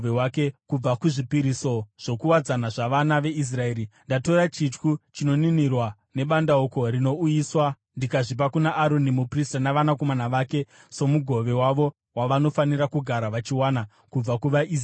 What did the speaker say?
Kubva kuzvipiriso zvokuwadzana zvavana veIsraeri ndatora chityu chinoninirwa nebandauko rinouyiswa ndikazvipa kuna Aroni muprista navanakomana vake somugove wavo wavanofanira kugara vachiwana kubva kuvaIsraeri.’ ”